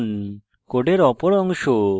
code অপর অংশ semicolon